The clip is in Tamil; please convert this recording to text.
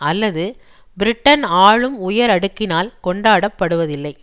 அல்லது பிரிடன் ஆளும் உயரடுக்கினால் கொண்டாடப்படுவதில்லை